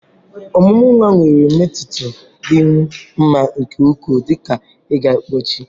Ọmụmụ nwa nwere mmetụta dị m mma nke ukwuu, dị ka ịga mpochi.